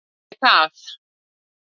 Ekki græt ég það.